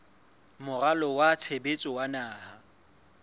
moralo wa tshebetso wa naha